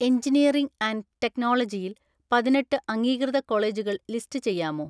Engineering and ടെക്നോളജിയിൽ പതിനെട്ട് അംഗീകൃത കോളേജുകൾ ലിസ്റ്റ് ചെയ്യാമോ?